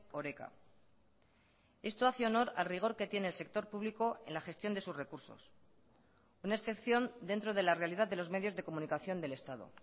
oreka esto hace honor al rigor que tiene el sector público en la gestión de sus recursos una excepción dentro de la realidad de los medios de comunicación del estado